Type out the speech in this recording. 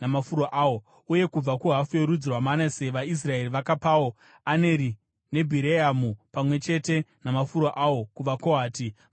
Uye kubva kuhafu yorudzi rwaManase vaIsraeri vakapawo Aneri neBhireamu pamwe chete namafuro awo kuvaKohati vakanga vasara.